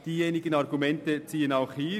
Die Argumente ziehen auch hier: